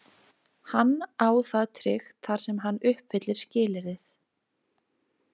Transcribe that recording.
Hann á það tryggt þar sem hann uppfyllir skilyrðið.